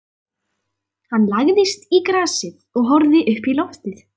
Hann lagðist í grasið og horfði uppí loftið.